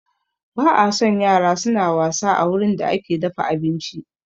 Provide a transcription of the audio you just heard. Ba a son yara suna wasa a wurin da ake dafa abinci